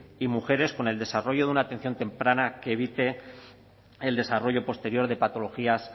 y mujeres con el desarrollo de una atención temprana que evite el desarrollo posterior de patologías